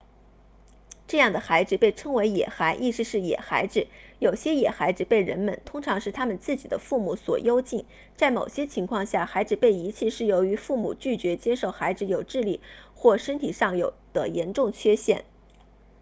这样的孩子被称为野孩意思是野孩子有些野孩子被人们通常是他们自己的父母所幽禁在某些情况下孩子被遗弃是由于父母拒绝接受孩子有智力或身体上的严重缺陷